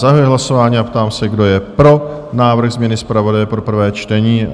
Zahajuji hlasování a ptám se, kdo je pro návrh změny zpravodaje pro prvé čtení?